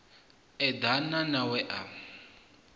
eḓana na a we a